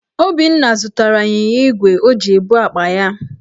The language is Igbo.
Obinna zụtara ịnyịnya igwe o ji ebu akpa ya.